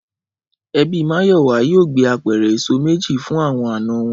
Ẹbí Máyọ̀wá yóò gbé apẹ̀rẹ̀ èso méjì fún àwọn àna wọn